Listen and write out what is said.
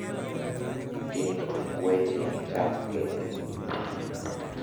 tiek tuk weche gi chak kendo